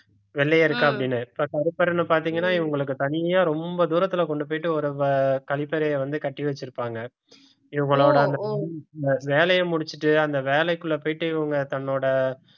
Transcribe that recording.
வெள்ளையர்க்கு அப்படின்னு கருப்பர்ன்னு பார்த்தீங்கன்னா இவங்களுக்கு தனியா ரொம்ப தூரத்துல கொண்டு போயிட்டு ஒரு வ~ கழிப்பறையை வந்து கட்டி வச்சிருப்பாங்க இவங்களோட அந்த வேலையை முடிச்சிட்டு அந்த வேலைக்குள்ள போயிட்டு இவங்க தன்னோட